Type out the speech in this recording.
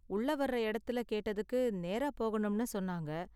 உள்ள வர்ற இடத்துல கேட்டதுக்கு நேரா போகணும்னு சொன்னாங்க.